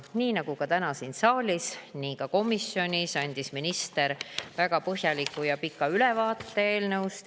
Nii nagu täna siin saalis, andis minister ka komisjonis eelnõust väga põhjaliku ja pika ülevaate.